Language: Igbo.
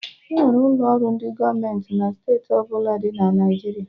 Enwere ụlọ ọrụ ndị gọọmenti na steeti ọbụla dị na Naijiria